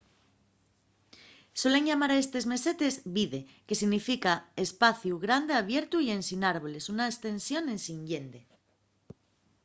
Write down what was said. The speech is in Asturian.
suelen llamar a estes mesetes vidde que significa espaciu grande abiertu y ensin árboles una estensión ensin llende